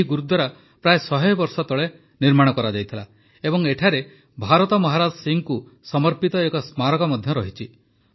ଏହି ଗୁରୁଦ୍ୱାରା ପ୍ରାୟ ଶହେ ବର୍ଷ ତଳେ ନିର୍ମିତ ହୋଇଥିଲା ଏବଂ ଏଠାରେ ଭାରତ ମହାରାଜ ସିଂହଙ୍କୁ ସମର୍ପିତ ଏକ ସ୍ମାରକ ମଧ୍ୟ ଅଛି